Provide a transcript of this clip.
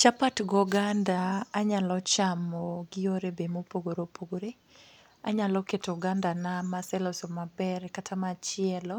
Chapat gi oganda, anyalo chamo gi yore be mopogore opogore. Anyalo keto ogandana maseloso mabere kata machielo